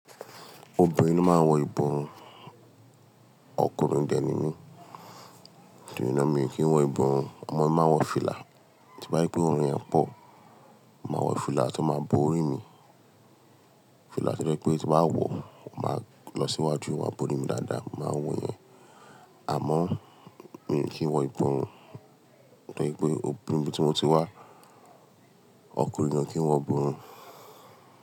Obìnrin ló máa ń wọ ìborùn, ọkùnrin dẹ̀ ni mí, torí náà mi ò kí ń wọ ìborùn. Amọ mi máa nwọ fìlà, tí n bá rí pé òòrùn yẹn pọ̀, màá wọ fìlà tó máa bo ori mi. Fìlà tó jẹ́ pé tí mbá wọ ó, màá lọ síwájú o máa bo orí mi dáadáa, màá wọ yẹn. Àmọ́ mi ò kí ń wọ ìborùn nítorí pé ibi tí mo ti wá, ọkùnrin ko kí wọ ìborùn.